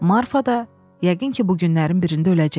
Marfa da, yəqin ki, bu günlərin birində öləcək.